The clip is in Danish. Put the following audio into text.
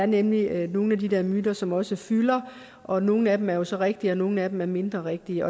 nemlig er nogle af de der myter som også fylder og nogle af dem er jo så rigtige og nogle af dem er mindre rigtige